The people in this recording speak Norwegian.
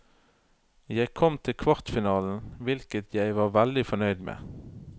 Jeg kom til kvartfinalen, hvilket jeg var veldig fornøyd med.